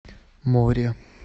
море